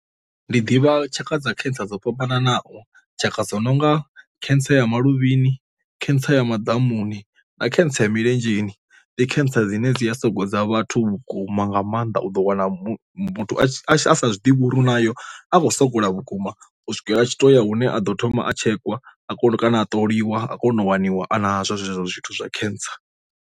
Ndi ḓivha tshaka dza khentsa dzo fhambananaho tshaka dzo nonga cancer ya maluvhini cancer ya madamuni na cancer ya milenzheni. Ndi cancer dzine dzi a soko dza vhathu vhukuma maanḓa u ḓo wana muthu a zwi ḓivha uri nayo a khou sogola vhukuma u swikela tshi to ya hune aḓo thoma a tshekwa a kona u kana a ṱoliwa a kona u waniwa a na zwezwo zwithu zwa cancer.